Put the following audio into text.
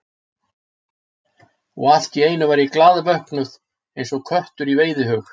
Og allt í einu var ég glaðvöknuð, eins og köttur í veiðihug.